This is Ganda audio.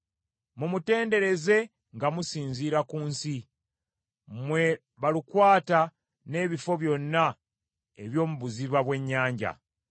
Mumutendereze nga musinziira ku nsi, mmwe balukwata n’ebifo byonna eby’omu buziba bw’ennyanja,